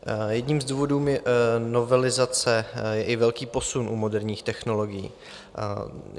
Jedním z důvodů novelizace je i velký posun u moderních technologií.